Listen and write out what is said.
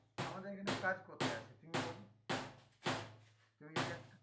আমাদের এখানে কাজ কোথায় আছে? তুমি বলো